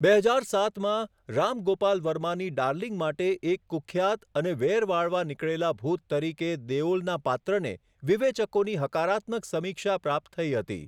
બે હજાર સાતમાં, રામ ગોપાલ વર્માની ડાર્લિંગ માટે એક કુખ્યાત અને વેર વાળવા નીકળેલા ભૂત તરીકે દેઓલના પાત્રને વિવેચકોની હકારાત્મક સમીક્ષા પ્રાપ્ત થઈ હતી.